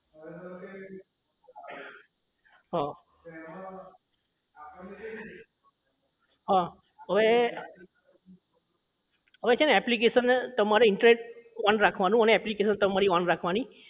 હા હા હવે છે ને application ને છેને તમારે internet ઓન રાખવાનું અને તમારી application તમારે on રાખવાની